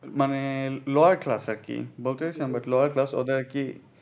মানে lower class আর কি lower class ওদের আর কি ইয়ে।